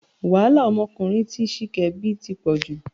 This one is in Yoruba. Wàhálà ọmọkùnrin tí Ṣìkẹ́ bí ti pọ̀ jù